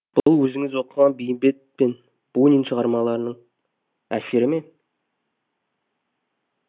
бұл өзіңіз оқыған бейімбет пен бунин шығармашылығының әсері ме